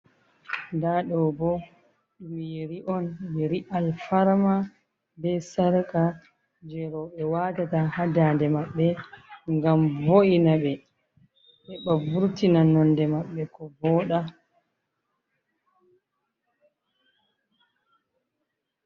Ɗa ɗo ɓo, ɗum yeri on, yeri alfarma ɓe sarka, je roɓe watata ha nɗanɗe maɓɓe ngam vo’ina ɓe. He ɓa vurtina nonɗe maɓblɓe ko vooɗa.